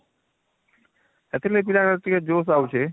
ସେଥିଲାଗି ପିଲାଙ୍କର ଟିକେ josh ଆଉଛି